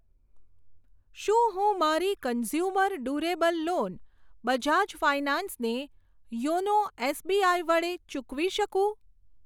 શું હું મારી consumer durable loan Bajaj finance ને યોનો એસબીઆઈ વડે ચૂકવી શકું?